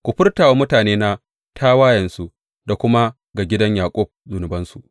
Ku furta wa mutanena tawayensu da kuma ga gidan Yaƙub zunubansu.